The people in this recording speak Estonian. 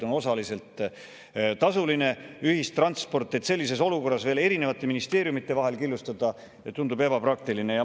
Sellises olukorras veel erinevate ministeeriumide vahel killustada tundub ebapraktiline.